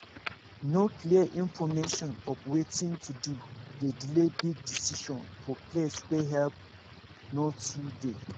no clear information of watin to do dey delay big decision for place wey help no too dey